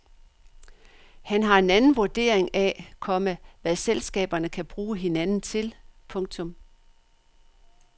Han har en anden vurdering af, komma hvad selskaberne kan bruge hinanden til. punktum